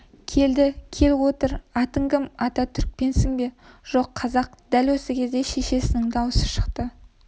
келді кел отыр атың кім ата түрікпенсің бе жоқ қазақ дәл осы кезде шешесінің даусы шықты